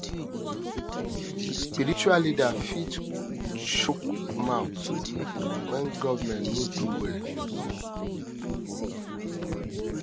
spiritual leaders fit chook mouth when governemnt no do well um